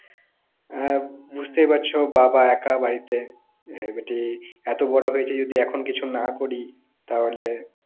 আর বুঝতেই পারছো বাবা একা বাড়িতে এবাটি এতো বড়ো হয়েছি যদি এবার কিছু না করি তাহোলে